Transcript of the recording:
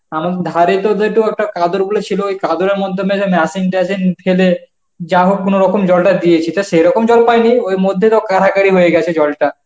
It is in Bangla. এমন ধারে তোদের তো একটা কাদের বলে ছিল, ওই কাদেরের মাধ্যমে যে machine ট্যাশিন ফেলে যাহোক কোনরকম জলটা দিয়েছি, তা সেরকম জল পাইনি ওই মধ্যে তো কাড়াকাড়ি হয়ে গেছে জলটা.